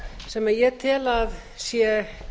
sem ég tel að sé